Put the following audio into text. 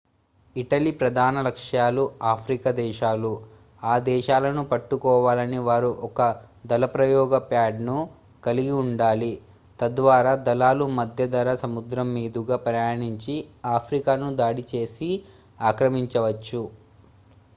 Italy ప్రధాన లక్ష్యాలు Africa దేశాలు ఆ దేశాలను పట్టుకోవాలని వారు ఒక దళప్రయోగ ప్యాడ్ ను కలిగి ఉండాలి తద్వారా దళాలు మధ్యధరా సముద్రం మీదుగా ప్రయాణించి ఆఫ్రికాను దాడి చేసి ఆక్రమించవచ్చు